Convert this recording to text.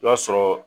I b'a sɔrɔ